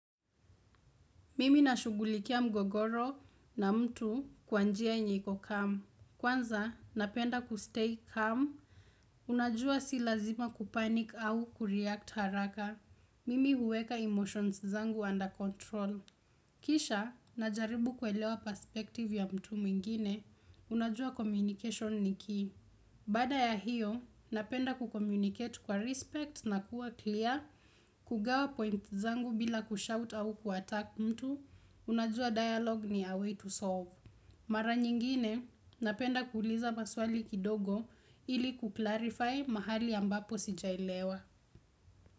Mimi na shughulikia mgogoro na mtu kwa njia yenye iko calm. Kwanza, napenda kustay calm. Unajua si lazima kupanick au kureact haraka. Mimi huweka emotions zangu under control. Kisha, najaribu kuelewa perspective ya mtu mwingine. Unajua communication ni key. Baada ya hiyo, napenda kucommunicate kwa respect na kuwa clear. Igawa points zangu bila kushout au kuattack mtu. Unajua dialog ni a way to solve. Mara nyingine, napenda kuuliza maswali kidogo ili kuclarify mahali ambapo sijalewa.